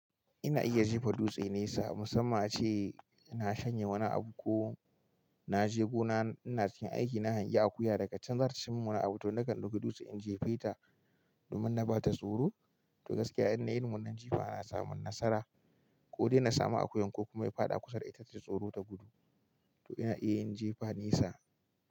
Ina iya jefa dutse nesa musamman ace ina shanya wani abu ko na je gona ina cikin aiki na hangi akuya, daga can za ta ci min wani abu to nakan dauki dutse in jefeta domin na ba ta tsoro. To gaskiya in dai irin wannan ce ba a samun nasara ko dai na samu akuyan ko kuma ya faɗa kusa da ita ta ji tsoro ta gudu. To ina iya yin jifa nesa.